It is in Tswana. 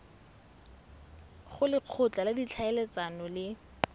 go lekgotla la ditlhaeletsano le